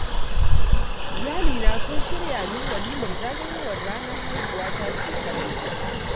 Iyalina sun shirya min walimar zagayowar ranar haihuwata shekaran jiya.